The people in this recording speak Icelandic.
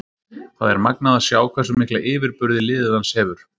Það er magnað að sjá hversu mikla yfirburði liðið hans hefur.